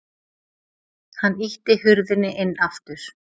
Hann ýtti hurðinni inn aftur.